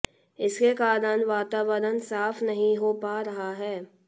इसके कारण वातावरण साफ नही हो पा रहा है